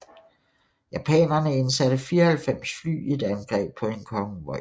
Japanerne indsatte 94 fly i et angreb på en konvoj